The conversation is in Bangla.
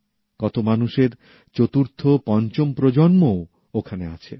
কত মানুষের চতুর্থ পঞ্চম প্রজন্মও ওখানে আছে